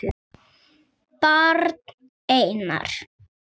Barn: Einar.